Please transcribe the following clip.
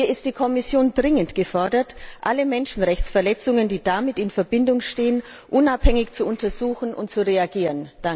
Hier ist die Kommission dringend gefordert, alle Menschenrechtsverletzungen, die damit in Verbindung stehen, unabhängig zu untersuchen und darauf zu reagieren.